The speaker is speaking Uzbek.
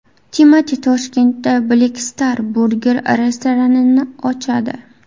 Timati Toshkentda Black Star Burger restoranini ochadi.